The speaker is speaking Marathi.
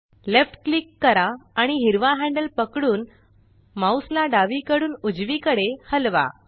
लेफ्ट क्लिक करा आणि हिरवा हॅंडल पकडून माउस ला डावीकडून उजवीकडे हलवा